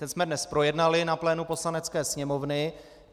Ten jsme dnes projednali na plénu Poslanecké sněmovny.